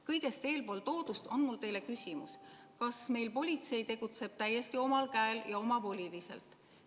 Kõigest eeltoodust lähtuvalt on mul teile küsimus: kas meil politsei tegutseb täiesti omal käel ja omavoliliselt?